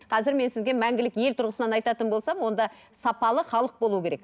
қазір мен сізге мәңгілік ел тұрғысынан айтатын болсам онда сапалы халық болуы керек